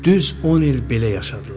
Düz 10 il belə yaşadılar.